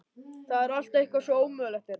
Það er allt eitthvað svo ómögulegt hérna.